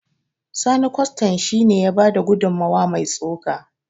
Sani kwastan shi ne ya bada gudummawa mai tsoka